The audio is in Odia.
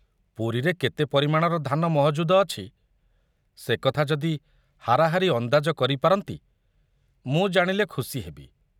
ପୁରୀରେ କେତେ ପରିମାଣ ଧାନ ମହଜୁଦ ଅଛି ସେ କଥା ଯଦି ହାରାହାରି ଅନ୍ଦାଜ କରି ପାରନ୍ତି, ମୁଁ ଜାଣିଲେ ଖୁସି ହେବି।